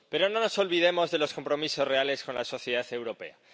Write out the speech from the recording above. Pero no nos olvidemos de los compromisos reales con la sociedad europea.